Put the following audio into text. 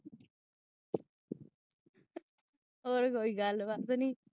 ਹੋਰ ਕੋਈ ਗਲ ਬਾਤ ਨਹੀਂ